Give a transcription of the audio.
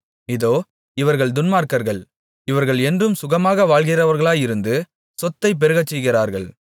இதோ இவர்கள் துன்மார்க்கர்கள் இவர்கள் என்றும் சுகமாக வாழ்கிறவர்களாயிருந்து சொத்தைப் பெருகச்செய்கிறார்கள்